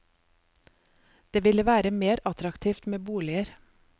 Det ville være mer attraktivt med boliger.